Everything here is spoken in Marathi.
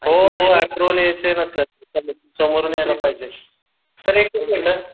हो हो अँप्रोवल यायचं आहे ना सर समोरून यायला पाहिजे सर एकच मिनिट